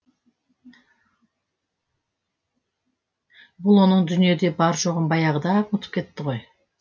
бұл оның дүниеде бар жоғын баяғыда ақ ұмытып кетті ғой